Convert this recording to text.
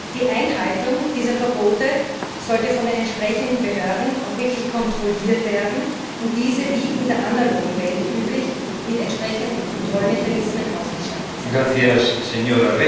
Die Einhaltung dieser Verbote sollte von den entsprechenden Behörden auch wirklich kontrolliert werden, und diese sollten wie in der analogen Welt üblich mit entsprechenden Kontrollmechanismen ausgestattet sein.